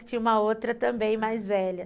Que tinha uma outra também mais velha.